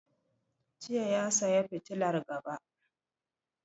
Jiya ya saya fitilar gaba.